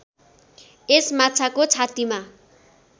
यस माछाको छातीमा